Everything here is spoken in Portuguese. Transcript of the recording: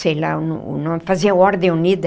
sei lá o no o nome, fazia Ordem Unida.